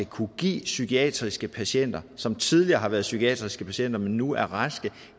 kunne give psykiatriske patienter altså som tidligere har været psykiatriske patienter men som nu er raske